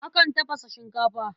Akan tafasa shinkafa.